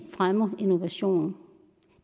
fremmer innovation